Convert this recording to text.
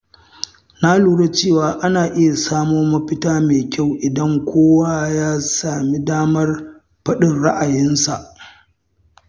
Na lura cewa ana iya samo mafita mai kyau idan kowa ya sami damar faɗin ra’ayinsa.